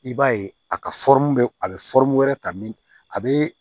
I b'a ye a ka a bɛ wɛrɛ ta min a bɛ